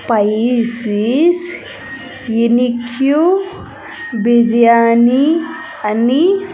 ఫైసిస్ ఎనీ క్యూ బిర్యాని అని.